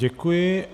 Děkuji.